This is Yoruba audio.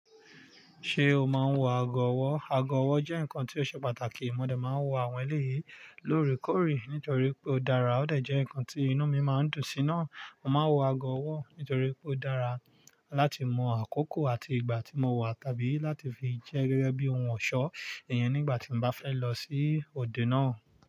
Ṣé o máa ń wọ ago ọwọ́? Ago ọwọ́ jẹ́ nǹkan tí ó ṣe pàtàkì. Mo dẹ̀ máa ń wọ àwọn èlé yìí lóòrèkóòrè nítorí pé ó dára. Ó dẹ̀ jẹ́ nǹkan tí inú mi máa ń dùn sí náà. Mo máa ń wọ ago ọwọ́ nítorí pé ó dára láti mọ àkókò àti ìgbà tí mo wà tàbí láti fi jẹ́ gẹ́gẹ́ bí ohun ọ̀ṣọ́ èèyàn nígbà tí mo bá fẹ́ lọ sí òde náà.